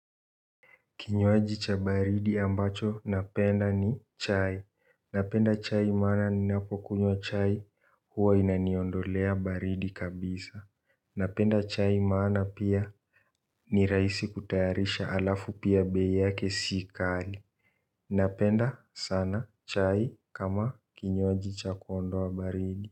Kinywaji cha baridi ambacho napenda ni, chai. Napenda chai maana, ninapokunywa chai huwa inaniondolea baridi kabisa. Napenda chai maana pia, ni rahisi kutayarisha alafu pia bei yake sikali. Napenda sana chai kama kinywaji cha kuondoa baridi.